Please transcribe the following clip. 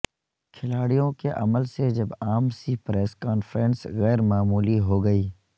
کھلاڑیوں کے عمل سے جب عام سی پریس کانفرنس غیر معمولی ہو گئی